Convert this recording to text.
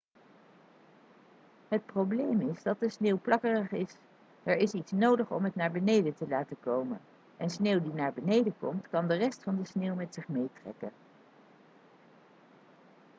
het probleem is dat de sneeuw plakkerig is er is iets nodig om het naar beneden te laten komen en sneeuw die naar beneden komt kan de rest van de sneeuw met zich meetrekken